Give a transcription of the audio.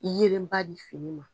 Yeelen ba di fini ma.